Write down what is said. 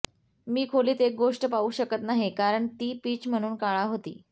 मी खोलीत एक गोष्ट पाहू शकत नाही कारण ती पिच म्हणून काळा होती